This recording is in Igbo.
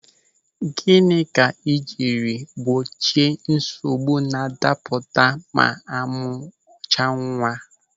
Gịnị ka ị jiri gbochie nsogbu na-adapụta ma amụ chaa nwa?